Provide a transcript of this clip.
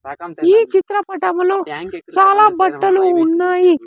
ఈ చిత్ర పటములో చాల బట్టలు ఉన్నాయి.